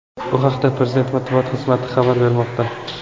Bu haqda prezident Matbuot xizmati xabar bermoqda.